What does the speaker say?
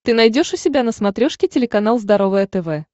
ты найдешь у себя на смотрешке телеканал здоровое тв